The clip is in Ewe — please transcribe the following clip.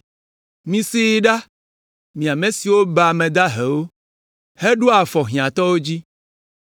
Misee ɖa, mi ame siwo baa ame dahewo, heɖoa afɔ hiãtɔwo dzi.